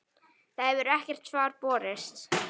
Það hefur ekkert svar borist.